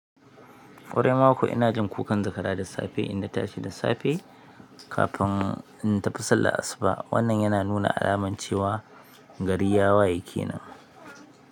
Ƙwarai ma kuwa ina jin kukan zakara da safe in na tashi da safe kafin in tafi sallar asuba. Wannan yana nuna alamar cewa gari ya waye kenan.